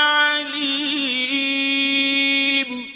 عَلِيمٌ